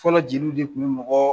Fɔlɔ jeliw de kun be mɔgɔ